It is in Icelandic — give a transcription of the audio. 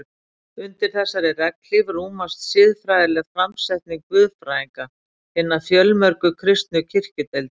Undir þessari regnhlíf rúmast siðfræðileg framsetning guðfræðinga hinna fjölmörgu kristnu kirkjudeilda.